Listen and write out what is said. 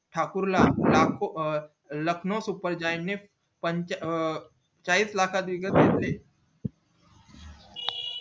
ठाकूर ला लाखो लखनऊ सुपरजाईं ने पन अं चाळीस लाखात विकत घेतले